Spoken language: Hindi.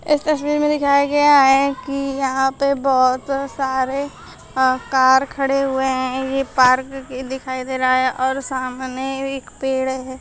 इस तस्वीर में दिखाया गया है कि यहां पर बहुत सारे कार खड़े हुए हैं ये पार्क भी दिखाई दे रहा है और सामने भी एक पेड़ है।